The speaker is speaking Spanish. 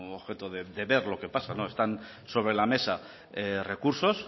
objeto de ver lo que pasa están sobre la mesa recursos